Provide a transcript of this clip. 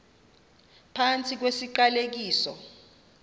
phantsi kwesi siqalekiso